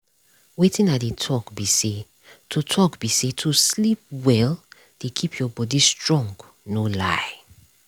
wetin i dey talk be sayto talk be sayto sleep well dey keep your body strong no lie